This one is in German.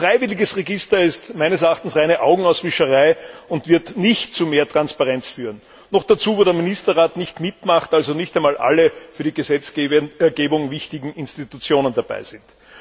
Ein freiwilliges Register ist meines Erachtens reine Augenauswischerei und wird nicht zu mehr Transparenz führen noch dazu, wo der Ministerrat nicht mitmacht, also nicht einmal alle für die Gesetzgebung wichtigen Organe dabei sind.